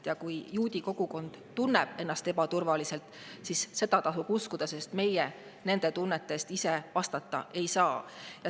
Ja kui juudi kogukond tunneb ennast ebaturvaliselt, siis seda tasub uskuda, sest meie nende tunnete eest vastutada ei saa.